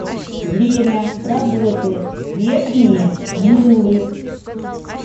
время работы верхние муллы